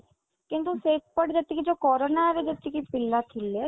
କିନ୍ତୁ ସେପଟେ ଯେତିକି ଯୋଉ କରୋନା ରେ ଯେତିକି ପିଲା ଥିଲେ